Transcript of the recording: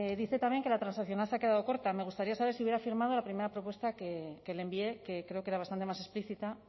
dice también que la transaccional se ha quedado corta me gustaría saber si hubiera firmado la primera propuesta que le envié que creo que era bastante más explícita